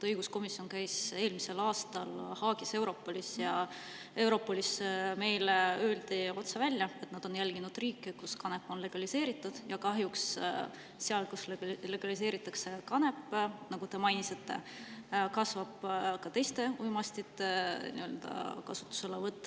Õiguskomisjon käis eelmisel aastal Haagis Europolis ning Europolis meile öeldi otse välja, et nad on jälginud riike, kus kanep on legaliseeritud, ja kahjuks seal, kus see on legaliseeritud, nagu teiegi mainisite, kasvab ka teiste uimastite kasutamine.